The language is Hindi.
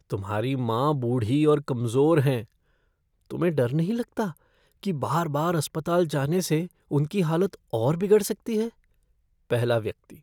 तुम्हारी माँ बूढ़ी और कमज़ोर हैं, तुम्हें डर नहीं लगता कि बार बार अस्पताल जाने से उनकी हालत और बिगड़ सकती है? पहला व्यक्ति